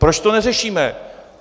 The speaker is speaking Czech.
Proč to neřešíme?